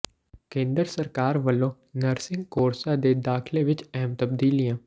ਕੇਂਦਰ ਸਰਕਾਰ ਵੱਲੋਂ ਨਰਸਿੰਗ ਕੋਰਸਾਂ ਦੇ ਦਾਖ਼ਲੇ ਵਿੱਚ ਅਹਿਮ ਤਬਦੀਲੀਆਂ